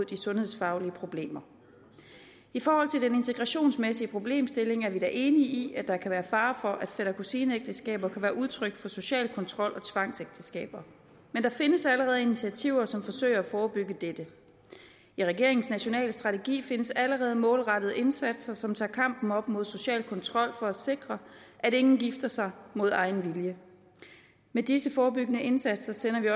de sundhedsfaglige problemer i forhold til den integrationsmæssige problemstilling er vi da enige i at der kan være fare for at fætter kusine ægteskaber kan være udtryk for social kontrol og tvangsægteskaber men der findes allerede initiativer som forsøger at forebygge dette i regeringens nationale strategi findes der allerede målrettede indsatser som tager kampen op mod social kontrol for at sikre at ingen gifter sig mod egen vilje med disse forebyggende indsatser sender vi